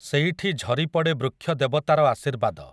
ସେଇଠି ଝରିପଡ଼େ ବୃକ୍ଷ ଦେବତାର ଆଶୀର୍ବାଦ ।